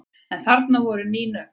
En þarna eru ný nöfn.